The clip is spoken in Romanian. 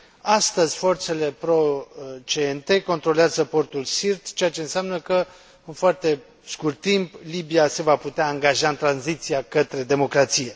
Astăzi forțele pro CNT controlează portul Sirte, ceea ce înseamnă că, în foarte scurt timp, Libia se va putea angaja în tranziția către democrație.